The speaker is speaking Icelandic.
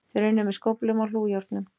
Þeir unnu með skóflum og hlújárnum